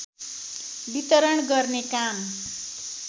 वितरण गर्ने काम